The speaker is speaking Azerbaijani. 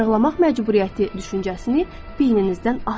Arıqlamaq məcburiyyəti düşüncəsini beyninizdən atın.